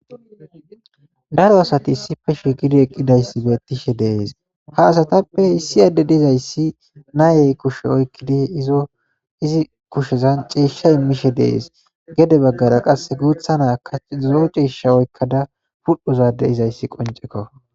Daro asat issippe siiqid eqidays betishe de'es,ha asatappe issi adey issi nay kushe oykid izi kushezan ciisha imishe de'es, gede bagara qase guta Nayaka lo'o ciisha oykada dhoqu ga dizays qoncekko.